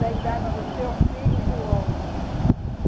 da idade do teu filho, João.